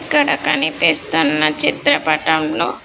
ఇక్కడ కనిపిస్తున్న చిత్రపటంలో.